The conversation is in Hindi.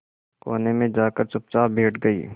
कोने में जाकर चुपचाप बैठ गई